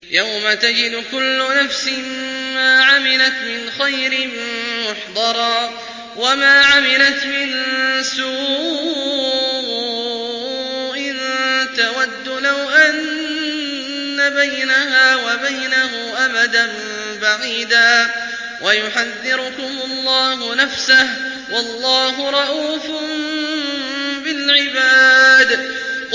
يَوْمَ تَجِدُ كُلُّ نَفْسٍ مَّا عَمِلَتْ مِنْ خَيْرٍ مُّحْضَرًا وَمَا عَمِلَتْ مِن سُوءٍ تَوَدُّ لَوْ أَنَّ بَيْنَهَا وَبَيْنَهُ أَمَدًا بَعِيدًا ۗ وَيُحَذِّرُكُمُ اللَّهُ نَفْسَهُ ۗ وَاللَّهُ رَءُوفٌ بِالْعِبَادِ